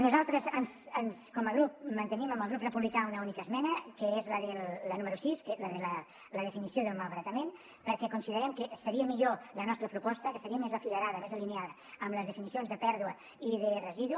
nosaltres com a grup mantenim amb el grup republicà una única esmena que és la número sis la de la definició del malbaratament perquè considerem que seria millor la nostra proposta que seria més afilerada més alineada amb les definicions de pèrdua i de residu